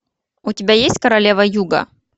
у тебя есть королева юга